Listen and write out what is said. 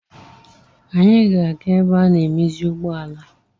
Anyị ga-aga ebe ana-emezi ụgbọala.